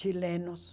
Chilenos.